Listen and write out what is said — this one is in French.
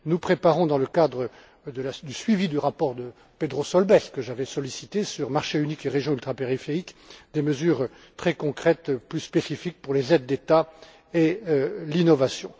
Nous préparons, dans le cadre du suivi du rapport de Pedro Solbes, que j'avais sollicité, sur le thème Marché unique et régions ultrapériphériques, des mesures très concrètes plus spécifiques pour les aides d'État et l'innovation.